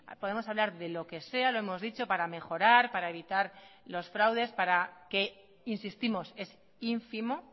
podemos hablar de lo que sea lo hemos dicho para mejorar para evitar los fraudes para que insistimos es ínfimo